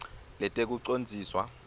letekucondziswa